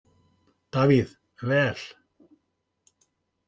Davíð: Vel.